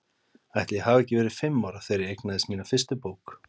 Ætli ég hafi ekki verið fimm ára þegar ég eignaðist mína fyrstu bók.